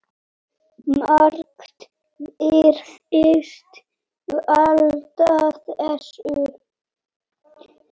Margt virðist valda þessu.